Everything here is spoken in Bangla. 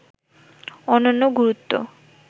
অনন্য গুরুত্ব